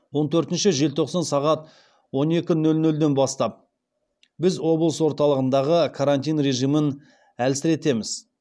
он төртінші желтоқсан сағат он екі нөл нөлден бастап біз облыс орталығындағы карантин режимін әлсіретеміз